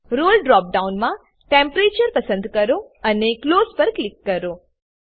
રોલે drop ડાઉનમાં temperature પસંદ કરો અને ક્લોઝ પર ક્લિક કરો